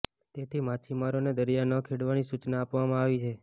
તેથી માછીમારોને દરિયો ન ખેડવાની સૂચના આપવામાં આવી છે